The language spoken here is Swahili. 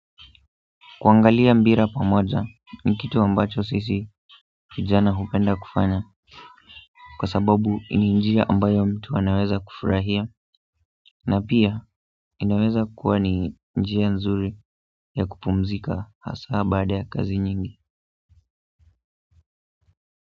Kuangalia mpira pamoja ni kitu ambacho sisi vijana hupenda kufanya kwa sababu ni njia ambayo mtu anaweza kufurahia na pia, inaweza kuwa ni njia nzuri ya kupumzika haswa baada ya kazi nyingi.